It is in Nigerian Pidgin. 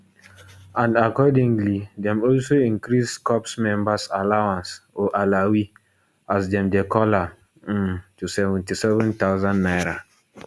and accordingly dem also increase corps members allowance or alawee as dem dey call am um to 77000 naira